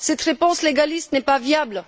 Cette réponse légaliste n'est pas viable.